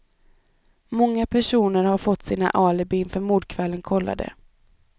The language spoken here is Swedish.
Många personer har fått sina alibin för mordkvällen kollade.